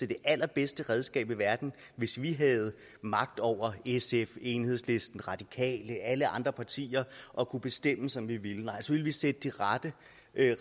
det allerbedste redskab i verden hvis vi havde magt over sf enhedslisten radikale alle andre partier og kunne bestemme som vi ville nej så ville vi sætte de rette